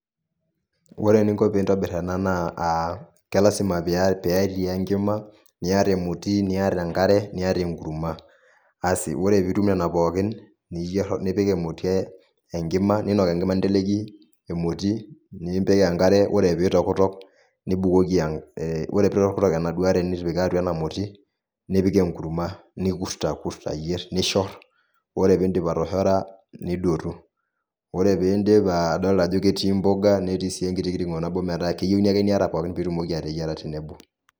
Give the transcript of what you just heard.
Ore eninko piintobirr ena naa ke lazima petii enkima, niata emoti, niata enkare, niata enkurma. Asi ore piitum pookin, nipik emoti enkima, niinok enkima ninteleiki emoti, nipik enkare ore piitokitok nibukoki, ore piitokitok enaduo are nitipika atwa ena moti, nipik enkurma. Nikurt ayierr, nishorr. Ore piindip atoshora nidotu. Ore piindip, adolita ajo ketii mboga netii sii enkiti kirng'o nabo metaa keyieuni ake niata pookin piitumoki ateyiera tenebo